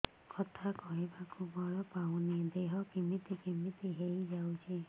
କଥା କହିବାକୁ ବଳ ପାଉନି ଦେହ କେମିତି କେମିତି ହେଇଯାଉଛି